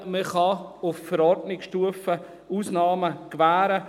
Man kann auf Verordnungsstufe Ausnahmen gewähren.